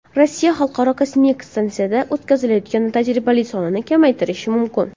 Rossiya Xalqaro kosmik stansiyada o‘tkazilayotgan tajribalari sonini kamaytirishi mumkin.